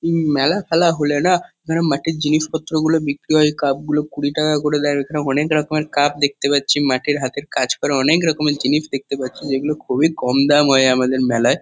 উম মেলা- ফেলা হলে না এখানে মাটির জিনিসপত্রগুলো বিক্রি হয়। কাপ - গুলো কুড়ি টাকা করে দেয় আর এখানে অনেক রকমের কাপ দেখতে পাচ্ছি। মাটির হাতের কাজ করা অনেক রকমের জিনিস দেখতে পাচ্ছি। যেগুলো খুবই কম দাম হয় আমাদের মেলায়।